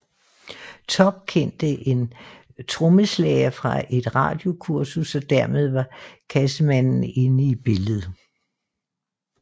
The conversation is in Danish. Topp kendte en trommeslager fra et radiokursus og dermed var Cassemannen inde i billedet